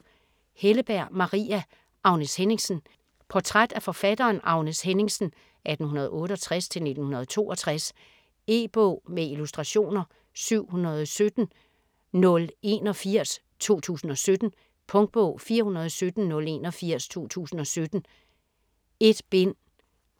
Helleberg, Maria: Agnes Henningsen Portræt af forfatteren Agnes Henningsen (1868-1962). E-bog med illustrationer 717081 2017. Punktbog 417081 2017. 1 bind.